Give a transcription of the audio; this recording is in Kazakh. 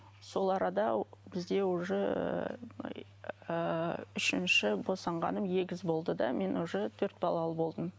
сол арада бізде уже ыыы үшінші босанғаным егіз болды да мен уже төрт балалы болдым